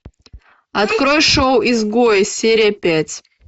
открой шоу изгои серия пять